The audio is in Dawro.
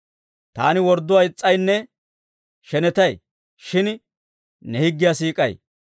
Taani wordduwaa is's'aynne shenetay; shin ne higgiyaa siik'ay.